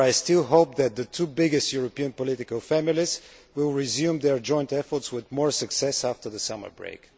However, I still hope that the two biggest European political families will resume their joint efforts with more success after the summer break.